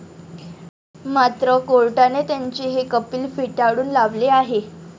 मात्र कोर्टाने त्यांचे हे अपील फेटाळून लावले आहे.